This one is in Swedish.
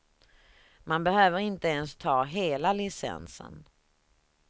Man behöver inte ens ta hela licensen.